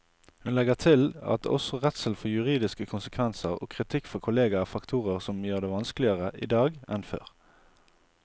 Hun legger til at også redselen for juridiske konsekvenser og kritikk fra kolleger er faktorer som gjør det vanskeligere i dag enn før.